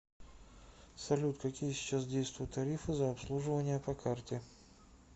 салют какие сейчас действуют тарифы за обслуживание по карте